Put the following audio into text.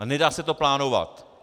A nedá se to plánovat.